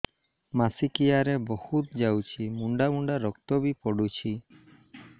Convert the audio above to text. ମାସିକିଆ ରେ ବହୁତ ଯାଉଛି ମୁଣ୍ଡା ମୁଣ୍ଡା ରକ୍ତ ବି ପଡୁଛି